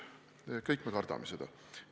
Me kõik kardame seda.